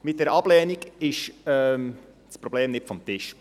Mit der Ablehnung ist das Problem nicht vom Tisch.